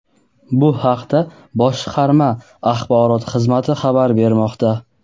Bu haqda boshqarma Axborot xizmati xabar bermoqda.